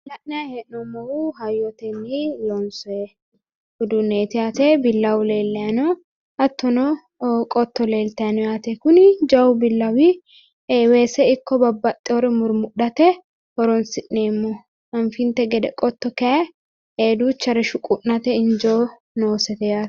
Kuni la'nayi hee'nommohu hayyotenni loonsoyi uduunneeti yaate billawu leellayi no hattono qotto leeltayi no yaate kuni jawu billawi weese ikko babbaxxeyoore murmudhate horonsi'neemmoho anfinte gede qotto kaayi duuchare shuqu'nate injo noose yaate